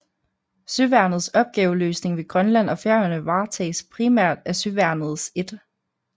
Søværnets opgaveløsning ved Grønland og Færøerne varetages primært af Søværnets 1